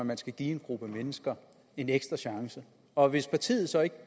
man skal give en gruppe mennesker en ekstra chance og hvis partiet så ikke